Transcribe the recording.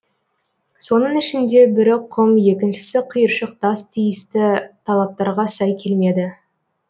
соның ішінде бірі құм екіншісі қиыршық тас тиісті талаптарға сай келмеді